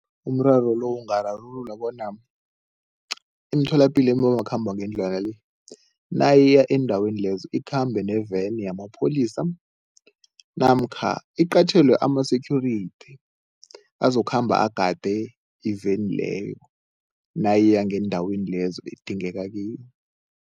Umraro lo ungararululwa bona imitholapilo ebomakhambangendlwana le, nayiya endaweni lezo ikhambe ne-van yamapholisa namkha iqatjhelwe ama-security azokhamba agade iveni leyo nayiya ngeendaweni lezo edingeka kiyo.